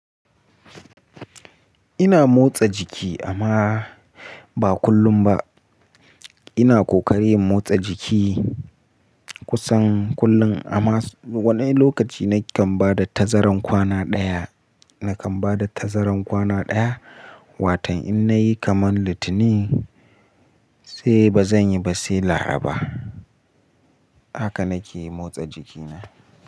Ina motsa jiki amma ba kullum ba. Ina kokarin motsa jiki kusan kullum amma wani lokaci nakan bada tazarar kwana daya, nakan bada tazarar kwana daya watan in nayi kaman Litinin sai bazan yi ba sai Laraba. Haka nake motsa jikina.